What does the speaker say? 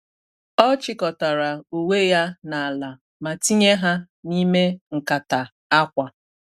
Ọ chịkọtara uwe ya n’ala ma tinye ha n’ime nkata akwa.